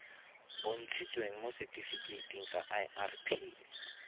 bontshitsweng mo setifikeiting sa irp